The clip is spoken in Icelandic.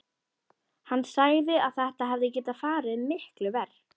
Hann sagði að þetta hefði getað farið miklu verr.